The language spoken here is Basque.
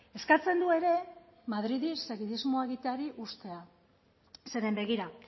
eskatzen du ere madridi segidismoa egiteari uztea zeren begira